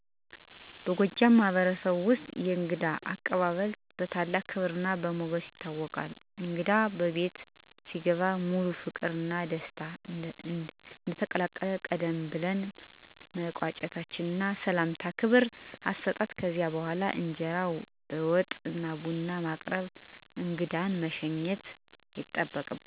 በጎጃም ማህበረሰብ ውስጥ የእንግዳ አቀባበል በታላቅ ክብርና በሞገስ ይታወቃል። እንግዳ በቤት ሲገባ በሙሉ ፍቅርና በደስታ እንቀበላለን፣ ቀደም ብለን መቀመጫ እና ሰላምታ በክብር እንሰጣለን። ከዚያ በኋላ በእንጀራ፣ በወጥ እና ቡና በማቅረብ እንግዳን እናከብራለን። ቡና በእጅጉ በግልጽ ትዕዛዝ በሶስት መጠጥ ይዘጋጃል፣ እንግዳ ራሱን ቤተሰብ እንደሆነ እንዲሰመው እናደርጋለን። በተጨማሪም በተለመደ መንገድ በማኅበራዊ ቃላትና በመግባቢያ ምላሽ የእንግዳን ክብር እንዲጠናከር እናደርጋለን። ይህ ባህላዊ ተግባር የጎጃም ሕዝብ አንድነትና በእንግዳ ላይ ያለንን ክብር ይገልጻል።